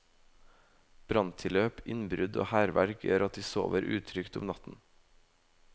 Branntilløp, innbrudd og hærverk gjør at de sover utrygt om natten.